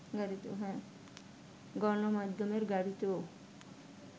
গণমাধ্যমের গাড়িতেও